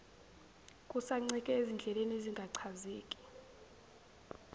kusancike ezindleleni ezingachazeki